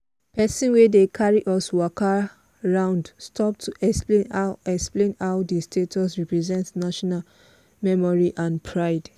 person wey dey carry us waka round stop to explain how explain how di statue represent national memory and pride.